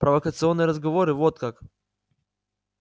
провокационные разговоры вот как